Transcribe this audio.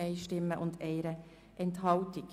GPK [Siegenthaler, Thun])